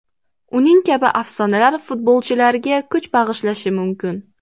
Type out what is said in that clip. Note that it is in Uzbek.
Uning kabi afsonalar futbolchilarga kuch bag‘ishlashi mumkin.